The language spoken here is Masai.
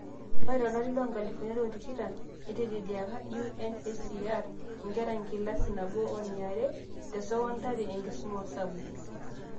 Ore tolari loonkalifuni are otikitam, neiteleliaaka UNHCR inkera enkilasi nabo woniare tesokondari enkisuma osabu